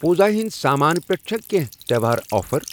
پوٗزا ہِنٛدؠ سامان پٮ۪ٹھ چھا کینٛہہ تہٚوہار آفر؟